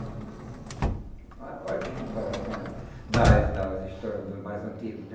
Oh olha que comparação da das das histórias dos mais antigos, né?